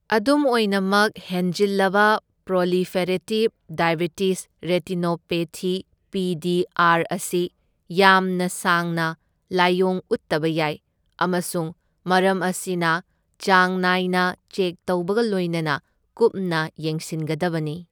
ꯑꯗꯨꯝ ꯑꯣꯏꯅꯃꯛ, ꯍꯦꯟꯖꯤꯜꯂꯕ proliferative diabetic retinopathy P D R ꯑꯁꯤ ꯌꯥꯝꯅ ꯁꯥꯡꯅ ꯂꯥꯏꯑꯣꯡ ꯎꯠꯇꯕ ꯌꯥꯏ, ꯑꯃꯁꯨꯡ ꯃꯔꯝ ꯑꯁꯤꯅ ꯆꯥꯡ ꯅꯥꯏꯅ ꯆꯦꯛ ꯇꯧꯕꯒ ꯂꯣꯢꯅꯅ ꯀꯨꯞꯅ ꯌꯦꯡꯁꯤꯟꯒꯗꯕꯅꯤ꯫